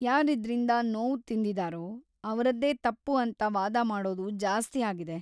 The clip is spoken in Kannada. ಯಾರಿದ್ರಿಂದ ನೋವ್‌ ತಿಂದಿದಾರೋ ಅವ್ರದ್ದೇ ತಪ್ಪು ಅಂತ ವಾದ ಮಾಡೋದು ಜಾಸ್ತಿ ಆಗಿದೆ.